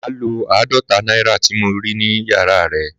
Màá lo àádọ́ta náírà tí mo rí nínú yàrá rẹ